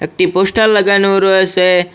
একটি পোস্টার লাগানো রয়েছে।